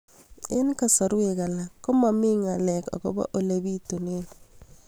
Eng' kasarwek alak ko mami ng'alek akopo ole pitunee